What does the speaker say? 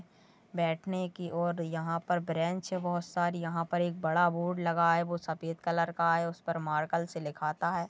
बैठने की और यहा पर ब्रेंच हो बहुत सारी यहां पर एक बडा बोर्ड लगा है वो सफेद कलर का है उसपर मार्केल से लिखाता है।